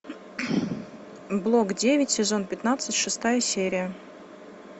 блок девять сезон пятнадцать шестая серия